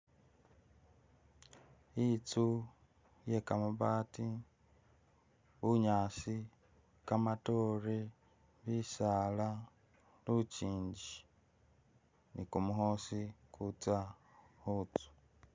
Itsu iye kabaati bunyaasi, kamatoore, bisaala lukyinji ni kumukhoosi ukutsya khutsu.